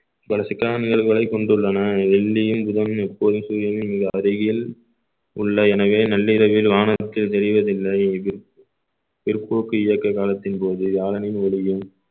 பல சிக்கலான நிகழ்வுகளைக் கொண்டுள்ளன வெள்ளியும் புதனும் எப்போது சூரியனின் மிக அருகில் உள்ள எனவே நள்ளிரவில் வானத்தில் தெரிவதில்லை இது பிற்போக்கு இயக்க காலத்தின் போது வியாழனின் ஒளியும்